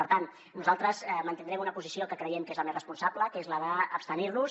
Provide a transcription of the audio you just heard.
per tant nosaltres mantindrem una posició que creiem que és la més responsable que és la d’abstenirnos